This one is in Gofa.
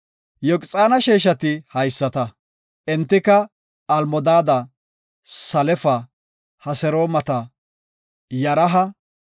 Yoqxaana sheeshati haysata. Entika Almodaada, Salefa, Hasermoota, Yaraha,